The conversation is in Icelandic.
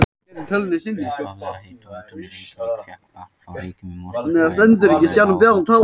Upphaflega hitaveitan í Reykjavík fékk vatn frá Reykjum í Mosfellsbæ en þar er lághitasvæði.